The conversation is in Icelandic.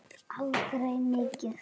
En aldrei mikið.